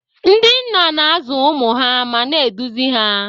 Ndị nna na-azụ ụmụ ha ma na-eduzi ha.